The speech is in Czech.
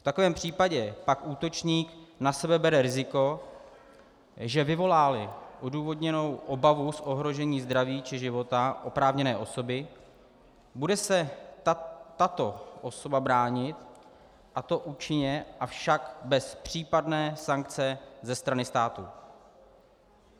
V takovém případě pak útočník na sebe bere riziko, že vyvolá-li odůvodněnou obavu z ohrožení zdraví či života oprávněné osoby, bude se tato osoba bránit, a to účinně, avšak bez případné sankce ze strany státu.